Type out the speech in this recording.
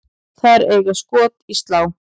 Þær eiga skot í slá.